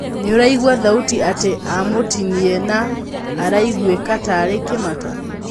Nĩuraigũa thauti atĩ amũtinie na araigũika tarĩ Kĩmata.